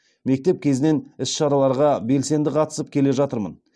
мектеп кезінен іс шараларға белсенді қатысып келе жатырмын